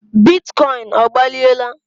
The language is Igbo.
bitcoin ọgbaliela?